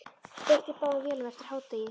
Steypt í báðum vélum eftir hádegi.